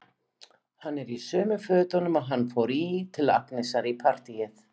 Hann er í sömu fötunum og hann fór í til Agnesar í partíið.